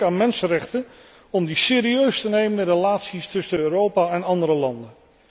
Ik denk aan mensenrechten om die serieus te nemen in de relaties tussen Europa en andere landen.